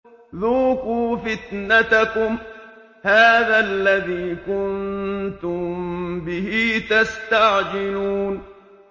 ذُوقُوا فِتْنَتَكُمْ هَٰذَا الَّذِي كُنتُم بِهِ تَسْتَعْجِلُونَ